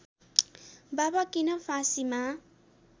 बाबा किन फाँसीमा